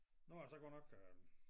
Nu er det så kort nok øh